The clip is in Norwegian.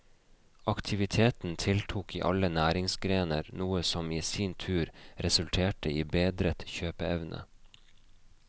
Aktiviteten tiltok i alle næringsgrener, noe som i sin tur resulterte i bedret kjøpeevne.